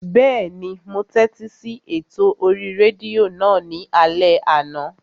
Bẹ́ẹ̀ni, mo tẹ́tí sí ètò orí rédíò náà ní alẹ́ àná